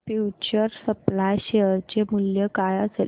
future supply share चे मूल्य काय असेल